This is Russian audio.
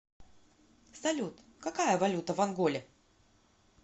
салют какая валюта в анголе